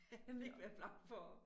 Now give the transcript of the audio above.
Han ville ikke være bleg for at